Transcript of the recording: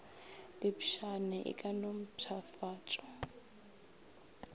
diepšane e ka no mpšhafatšwa